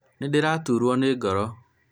nĩdĩraturũo nĩ ngoro